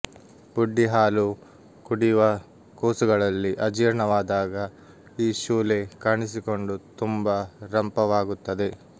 ಬುಡ್ಡಿಹಾಲು ಕುಡಿವ ಕೂಸುಗಳಲ್ಲಿ ಅಜೀರ್ಣವಾದಾಗ ಈ ಶೂಲೆ ಕಾಣಿಸಿಕೊಂಡು ತುಂಬ ರಂಪವಾಗು ತ್ತದೆ